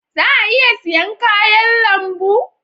Za a iya siyan kayan lambu?